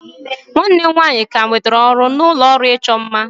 nwanne m nwanyị ka nwetara ọrụ na ụlọ ọrụ ịchọ mma